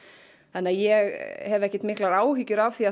ég hef ekki miklar áhyggjur af því